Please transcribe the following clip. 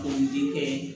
N denkɛ